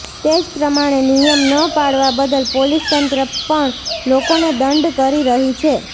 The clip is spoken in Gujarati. તે જ પ્રમાણે નિયમ ન પાળવા બદલ પોલીસ તંત્ર પણ લોકોને દંડ કરી રહી છે